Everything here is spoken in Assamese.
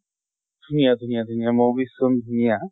ধুনীয়া ধুনীয়া ধুনীয়া movies খন ধুনীয়া।